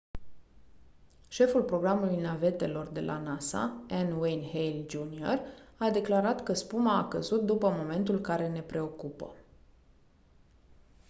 șeful programului navetelor de la nasa n. wayne hale jr. a declarat că spuma a căzut «după momentul care ne preocupă».